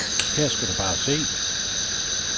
Her skal du bare se.